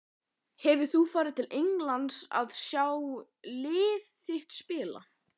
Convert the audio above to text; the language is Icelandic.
Hefur þú farið til Englands að sjá lið þitt spila?